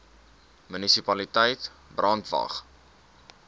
munisipaliteit brandwatch